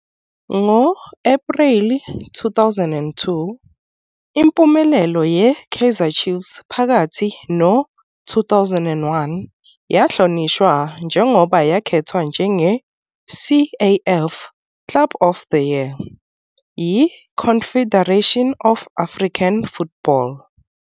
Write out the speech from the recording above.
Ngo-Ephreli 2002, impumelelo ye-Kaizer Chiefs phakathi no-2001 yahlonishwa njengoba yakhethwa njenge- "CAF Club of the Year" yi-Confederation of African Football.